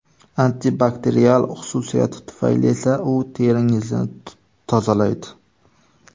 Antibakterial xususiyati tufayli esa u teringizni tozalaydi.